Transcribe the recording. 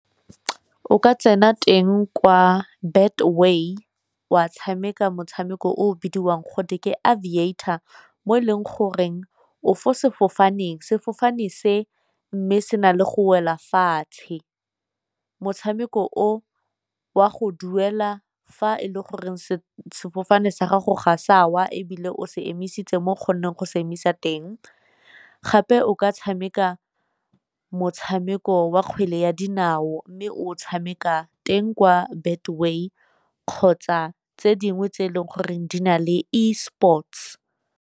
O ka tsena teng kwa Betway wa tshameka motshameko o o bidiwang gote ke Aviator mo e leng goreng o fo sefofaneng, sefofane se mme se na le go wela fatshe. Motshameko o wa go duela fa e le goreng sefofane sa gago ga sa wa ebile o se emisitse mo o kgonneng go se emisa teng, gape o ka tshameka motshameko wa kgwele ya dinao, mme o tshameka teng kwa Betway kgotsa tse dingwe tse e leng goreng di na leng esports.